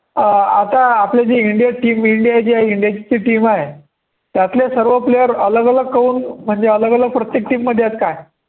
अं आता आपल्या जी इंडिया team इंडिया इंडियाची जी team आहे, त्यातले सर्व player अलग अलग करून म्हणजे अलग अलग प्रत्येक team मध्ये आहेत काय